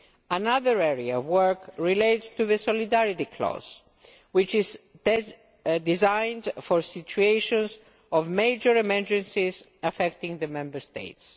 Another area of work relates to the solidarity clause, which is designed for situations of major emergencies affecting the Member States.